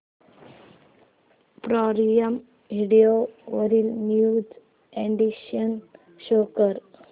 prime Video वरील new additions show कर